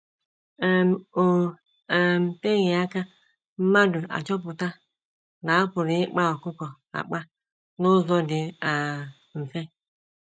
um O um teghị aka mmadụ achọpụta na a pụrụ ịkpa ọkụkọ akpa n’ụzọ dị um mfe.